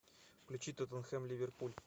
включи тоттенхэм ливерпуль